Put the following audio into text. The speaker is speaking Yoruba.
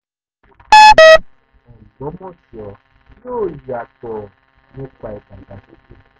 ó ní ìlú ọgbọ́mọso yóò yàtọ̀ nípa ìdàgbàsókè